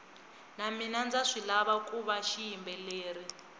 na mina ndza swilava kuva xiyimbeleri